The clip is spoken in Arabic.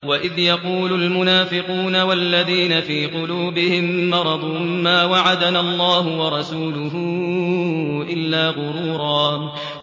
وَإِذْ يَقُولُ الْمُنَافِقُونَ وَالَّذِينَ فِي قُلُوبِهِم مَّرَضٌ مَّا وَعَدَنَا اللَّهُ وَرَسُولُهُ إِلَّا غُرُورًا